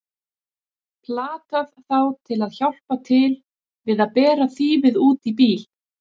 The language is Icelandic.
Platað þá til að hjálpa til við að bera þýfið út í bíl!